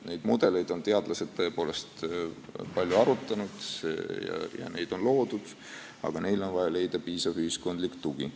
Neid mudeleid on teadlased tõepoolest palju arutanud ja neid on loodud, aga neile on vaja leida piisav ühiskondlik tugi.